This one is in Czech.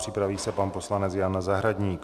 Připraví se pan poslanec Jan Zahradník.